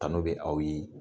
Tanu bɛ aw ye